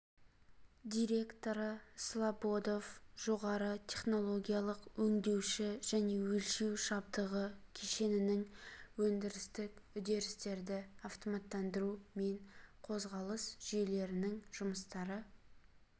директоры слободов жоғары технологиялық өңдеуші және өлшеу жабдығы кешенінің өндірістік үдерістерді автоматтандыру мен қозғалыс жүйелерінің жұмыстары